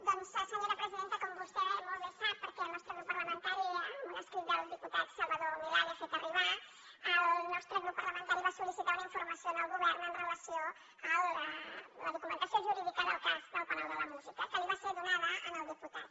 doncs senyora presidenta com vostè sap molt bé perquè el nostre grup parlamentari amb un escrit del diputat salvador milà li ho ha fet arribar el nostre grup parlamentari va sol·licitar una informació al govern amb relació a la documentació jurídica del cas del palau de la música que li va ser donada al diputat